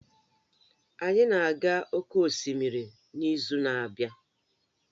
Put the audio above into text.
Anyị na-aga oke osimiri n'izu na-abịa